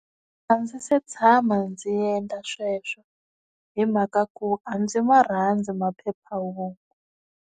A ndzi se tshama ndzi endla sweswo hi mhaka ku a ndzi ma rhandzu maphephahungu.